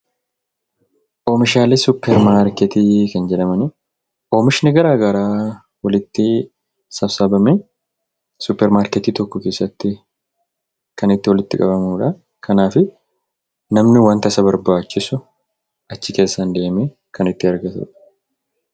Oomishalee "suupeer maarkeetti" Kan jedhamaan; oomishnii garagaraa walitti sasaabamee suupeer maarkeetti tokko keessatti Kan itti walitti qabamuudha. kanaafi, namni wanta isa barbaachisuu achii keessan deemme Kan argaatudha.